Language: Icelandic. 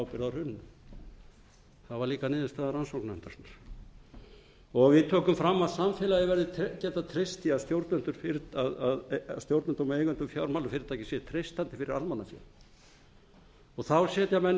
á hruninu það var líka niðurstaða rannsóknarnefndarinnar við tökum fram að samfélagið verði að geta treyst því að stjórnvöldum og eigendum fjármálafyrirtækja sé treystandi fyrir almannafé þá setja menn